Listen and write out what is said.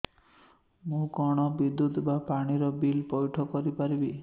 ମୁ କଣ ବିଦ୍ୟୁତ ବା ପାଣି ର ବିଲ ପଇଠ କରି ପାରିବି